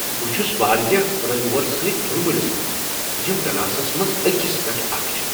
بہٕ چھس واریاہ فلایی اورو سۭتۍ دُل مِلس منٛز یم ڈلاسس منٛز اکس پیٹھ اکھ چھ۔